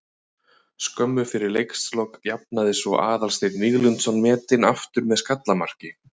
Skömmu fyrir leikslok jafnaði svo Aðalsteinn Víglundsson metin aftur með skallamarki.